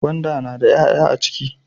Gwanda na da 'ya'ya a ciki